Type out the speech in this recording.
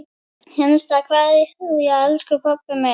HINSTA KVEÐJA Elsku pabbi minn.